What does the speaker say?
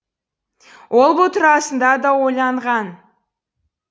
ол бұл турасында да ойланған